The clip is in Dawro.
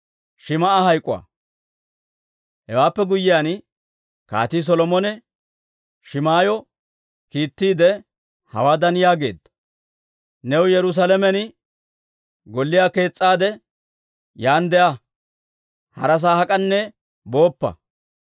Hewaappe guyyiyaan Kaatii Solomone Shim"ayyo kiittiide hawaadan yaageedda; «New Yerusaalamen golliyaa kees's'aade, yaan de'a; harasaa hak'anne booppa.